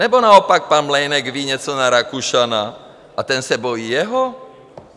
Nebo naopak pan Mlejnek ví něco na Rakušana a ten se bojí jeho?